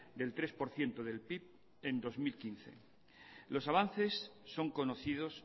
del tres por ciento del pib en dos mil quince los avances son conocidos